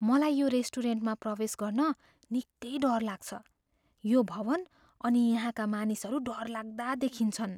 मलाई यो रेस्टुरेन्टमा प्रवेश गर्न निकै डर लाग्छ। यो भवन् अनि यहाँका मानिसहरू डरलाग्दा देखिन्छन्।